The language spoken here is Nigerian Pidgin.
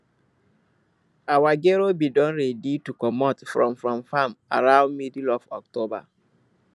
our gero been don ready to comot from from farm around middle of october